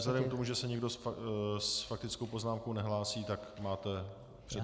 Vzhledem k tomu, že se nikdo s faktickou poznámkou nehlásí, tak máte přednostní právo.